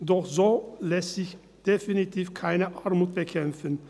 Doch so lässt sich definitiv keine Armut bekämpfen.